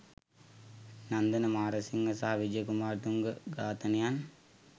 නන්දන මාරසිංහ සහ විජය කුමාරතුංග ඝාතනයන්